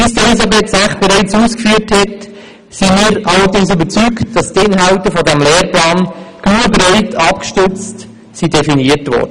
Wie Elisabeth Zäch bereits ausgeführt hat, sind wir allerdings der Überzeugung, dass die Inhalte dieses Lehrplans genügend breit abgestützt definiert wurden.